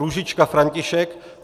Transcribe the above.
Růžička František